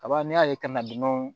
Kaba n'i y'a ye kana dunanw